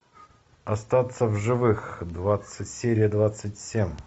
остаться в живых серия двадцать семь